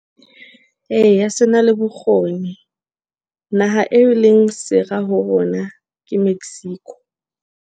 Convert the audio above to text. Eya, sena le bokgoni naha eo e leng sera ho rona ke Mexico.